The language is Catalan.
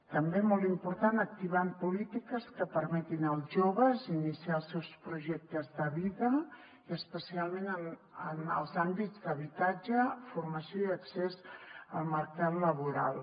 també molt important activar polítiques que permetin als joves iniciar els seus projectes de vida i especialment en els àmbits d’habitatge formació i accés al mercat laboral